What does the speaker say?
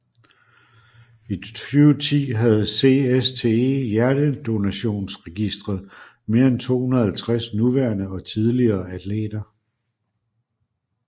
I 2010 havde CSTE Hjernedonationsregister mere end 250 nuværende og tidligere atleter